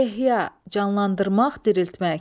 Ehya, canlandırmaq, diriltmək.